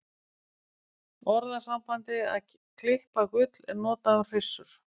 Orðasambandið að klippa gull er notað um hryssur.